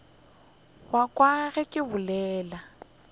wa ka ge ke bolela